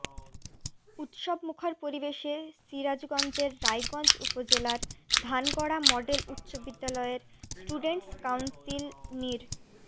উৎসবমুখর পরিবেশে সিরাজগঞ্জের রায়গঞ্জ উপজেলার ধানগড়া মডেল উচ্চবিদ্যালয়ের স্টুডেন্টস কাউন্সিল নির্